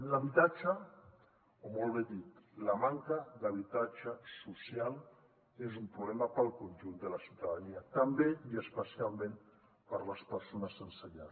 l’habitatge o millor dit la manca d’habitatge social és un problema per al conjunt de la ciutadania també i especialment per a les persones sense llar